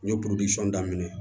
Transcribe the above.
N ye daminɛ